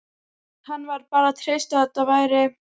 Hann varð bara að treysta á að þetta væri